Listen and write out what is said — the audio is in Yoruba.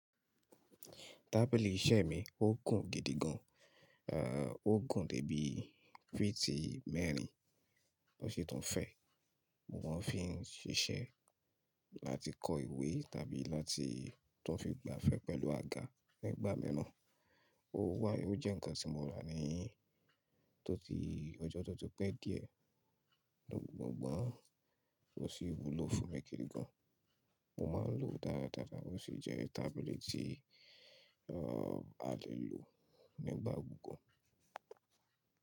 Tábìlì iṣẹ́ mi ó gùn gidigan, ò gùn dé bí fítì mẹ́rin tó ṣi tún fẹ́, mo máa ń fi ṣiṣẹ́ láti kọ ìwé tàbí láti tó fi gba afẹ́ pẹ̀lú àga nígbà miran. Ó wà, ó jẹ́ ǹkan tí mo rà ní tó ti ọjọ́ tó ti pẹ́ díẹ̀, mo gbọ́n, ó sì wúlò fún mi gìídigán, mo máa ń lò ó dáradára, ó sì jẹ́ tábìlì tí, ehen, a lè lò nígbà gbogbo.